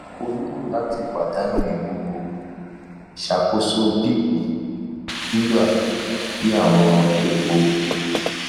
o nilo lati padanu iwuwo ṣakoso bp sugar tabi awọn epo